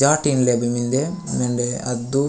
जाटीन ले बे मिन्दे वेंडे अद्दू --